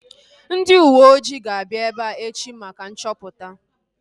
Ndị uweojii ga-abịa ebea echi maka nchọpụta